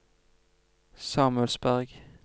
Samuelsberg